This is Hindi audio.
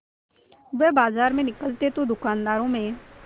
वह बाजार में निकलते तो दूकानदारों में